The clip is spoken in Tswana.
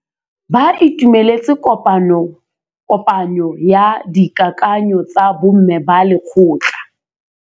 Ba itumeletse kôpanyo ya dikakanyô tsa bo mme ba lekgotla.